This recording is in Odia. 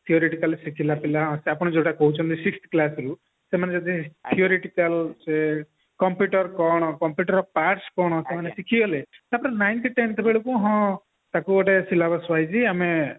କଲେ ସେ ପିଲା ଆପଣ ଯୋଉଟା କହୁଛନ୍ତି sixth class ରୁ ସେମାନେ ଯଦି ସେ computer କଣ computer ର parts କଣ ଶିଖିଗଲେ ninth tenth ବେଳକୁ ହଁ ଟାକୁ ଆମେ ଗୋଟେ syllabus wise ଆମେ